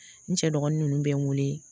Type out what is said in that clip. N cɛ dɔgɔnin nunnu bɛ n wele